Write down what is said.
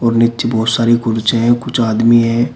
और नीचे बहुत सारी कुर्चे है कुछ आदमी है।